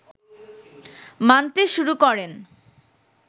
মানতে শুরু করেন